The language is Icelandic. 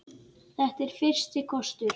Þetta er fyrsti kostur.